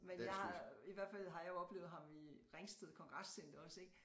Men jeg har i hvert fald har jeg oplevet ham i Ringsted kongrescenter også ik